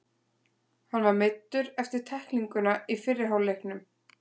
Hann var meiddur eftir tæklinguna í fyrri hálfleiknum.